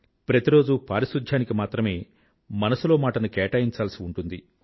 ప్రతి రోజూ పారిశుధ్యానికి మాత్రమే మనసులో మాటను కేటాయించాల్సి ఉంటుంది